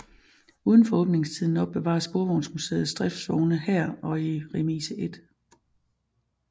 Udenfor åbningstiden opbevares Sporvejsmuseets driftsvogne her og i Remise 1